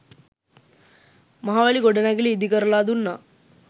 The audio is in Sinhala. මහවැලි ගොඩනැගිලි ඉදිකරලා දුන්නා